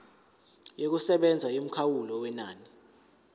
yokusebenza yomkhawulo wenani